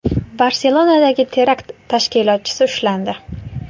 Barselonadagi terakt tashkilotchisi ushlandi.